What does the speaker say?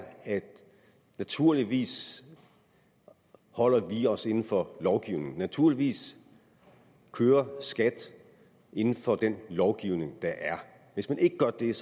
at naturligvis holder vi os inden for lovgivningen naturligvis kører skat inden for den lovgivning der er hvis man ikke gør det er